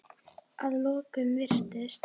Að lokum virðist